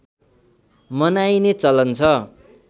मनाइने चलन छ